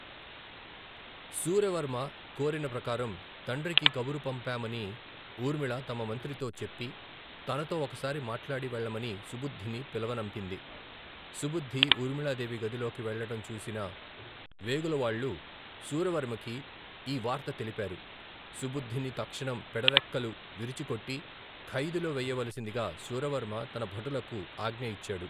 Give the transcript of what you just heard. శూరవర్మ కోరిన ప్రకారం తండ్రికి కబురు పంపామని ఊర్మిళ తమ మంత్రితో చెప్పి, తనతో ఒకసారి మాట్లాడి వెళ్లమని సుబుద్ధిని పిలవనంపింది. సుబుద్ధి ఊర్మిళా దేవి గదిలోకి వెళ్లటం చూసిన వేగులవాళ్లు శూరవర్మకి ఈ వార్త తెలిపారు. సుబుద్ధిని తక్షణం పెడరెక్కలు విరిచికట్టి ఖైదులో వెయ్యవలిసిందిగా శూరవర్మ తన భటులకు ఆజ్ఞ ఇచ్చాడు.